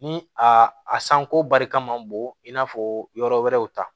Ni a sanko barika man bon i n'a fɔ yɔrɔ wɛrɛw ta